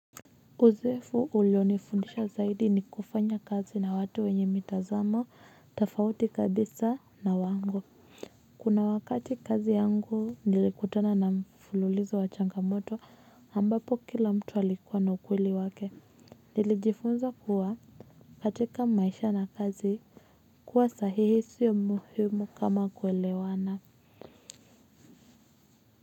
Uzefu ulionifundisha zaidi ni kufanya kazi na watu wenye mitazamo, tafauti kabisa na wangu. Kuna wakati kazi yangu, nilikutana na mfululizo wa changamoto, ambapo kila mtu alikuwa na ukweli wake. Nilijifunza kuwa, katika maisha na kazi, kuwa sahihi sio muhimu kama kuelewana.